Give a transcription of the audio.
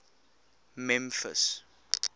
memphis